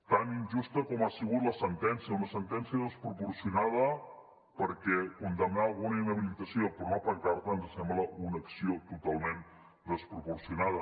tan injusta com ho ha sigut la sentència una sentència desproporcionada perquè condemnar a una inhabilitació per una pancarta ens sembla una acció totalment desproporcionada